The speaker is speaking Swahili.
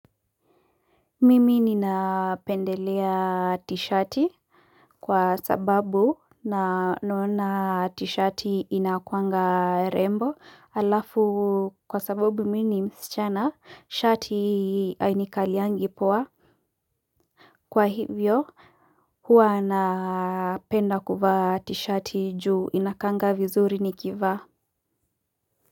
Mimi ninapendelea tisheti kwa sababu naona tisheti inakuanga rembo, alafu kwa sababu mimi ni msichana, tisheti hainikalii poa. Kwa hivyo huwa napenda kuvaa tisheti juu inakaa vizuri nikivaa.